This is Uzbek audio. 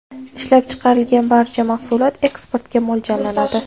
Ishlab chiqarilgan barcha mahsulot eksportga mo‘ljallanadi.